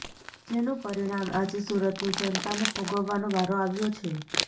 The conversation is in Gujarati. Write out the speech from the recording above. જેનું પરિણામ આજે સુરતની જનતાને ભોગવવાનો વારો આવ્યો છે